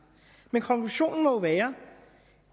men konklusionen må være